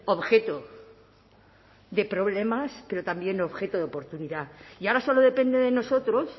objeto de problemas pero también objeto de oportunidad y ahora solo depende de nosotros